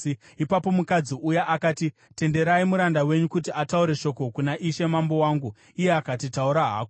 Ipapo mukadzi uya akati, “Tenderai muranda wenyu kuti ataure shoko kuna ishe mambo wangu.” Iye akati, “Taura hako.”